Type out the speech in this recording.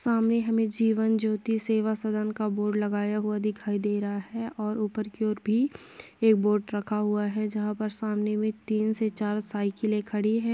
सामने हमें जीवन ज्योति सेवा सदन का बोर्ड लगाया हुआ दिखाई दे रहा है और ऊपर की ओर भी एक बोर्ड रखा हुआ है जहाँ पर सामने में तीन से चार साइकिलें खड़ी हैं।